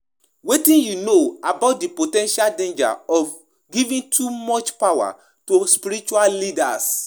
When spiritual leaders hold too much power, dem dey risk becoming corrupt um and abusive and dia followers dey um suffer.